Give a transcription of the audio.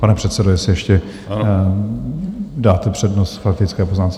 Pane předsedo, jestli ještě dáte přednost faktické poznámce?